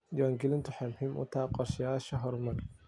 Diiwaangelintu waxay muhiim u tahay qorshayaasha horumarineed.